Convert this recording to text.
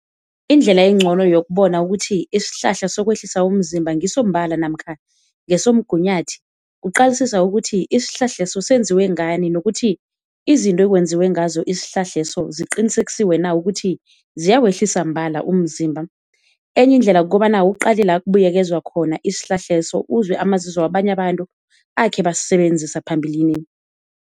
Indlela encono yokubona ukuthi isihlahla sokwehlisa umzimba ngiso mbala namkha ngesomgunyathi kuqalisisa ukuthi isihlahla leso senziwe ngani, nokuthi izinto ekwenziwe ngazo isihlahla leso ziqinisekisiwe na ukuthi ziyawehlisa mbala umzimba. Enye indlela kukobana uqale la kubuyekezwa khona isihlahla leso uzwe amazizo wabanye abantu akhe basisebenzisa phambilini.